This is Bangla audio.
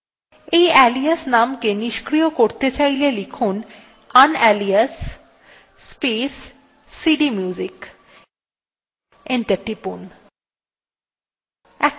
এই alias নাম কে নিস্ক্রিয় করতে চাইলে টাইপ করুন unalias space cdmusic এবং enter টিপুন